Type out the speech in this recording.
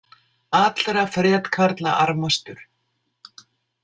Allra fretkarla armastur.